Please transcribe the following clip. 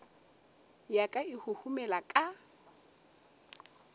ya ka e huhumela ka